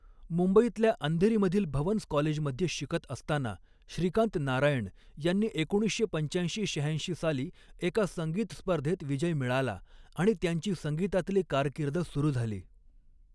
मुंबईतल्या अंधेरीमधील भवन्स कॉलेजमध्ये शिकत असताना श्रीकांत नारायण यांनी एकोणीसशे पंचाऐंशी शहाऐंशी साली एका संगीत स्पर्धॆत विजय मिळाला आणि त्यांची संगीतातली कारकीर्द सुरू झाली.